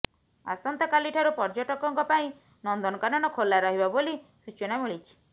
ଆସନ୍ତା କାଲିଠାରୁ ପର୍ଯ୍ୟଟକଙ୍କ ପାଇଁ ନନ୍ଦନକାନନ ଖୋଲା ରହିବ ବୋଲି ସୂଚନା ମିଳିଛି